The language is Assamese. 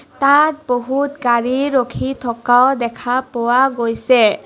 তাত বহুত গাড়ী ৰখি থকাও দেখা পোৱা গৈছে.